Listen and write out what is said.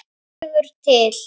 vegur til.